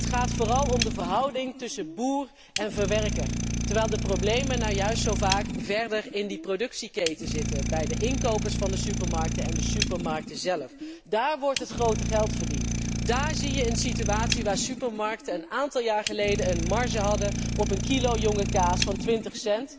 Het gaat vooral om de verhouding tussen boer en verwerker, terwijl de problemen nu juist zo vaak verder in die productieketen zitten, bij de inkopers van de supermarkten en de supermarkten zelf. Dààr wordt het grote geld verdiend, dààr zie je een situatie waar supermarkten een aantal jaar geleden een marge hadden op een kilo jonge kaas van 0,20